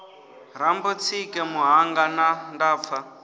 rambo tsike muṱhannga nda pfa